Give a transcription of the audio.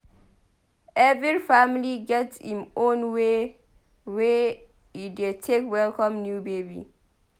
Every family get im own way wey e dey take welcome new baby.